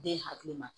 Den hakili ma